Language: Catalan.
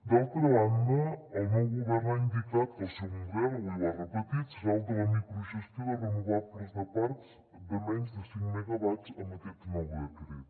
d’altra banda el nou govern ha indicat que el seu model avui ho ha repetit serà el de la microgestió de renovables de parcs de menys de cinc megawatts amb aquest nou decret